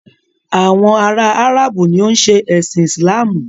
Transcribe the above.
Àwọn ará Áràbù ni o ń ṣe ẹ̀sin Islamu.